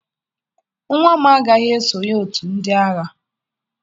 Nwa m agaghị esonye otu ndị agha